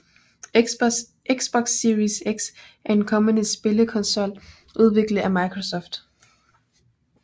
Xbox Series X er en kommende spillekonsol udviklet af Microsoft